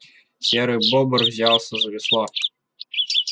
серый бобр взялся за весло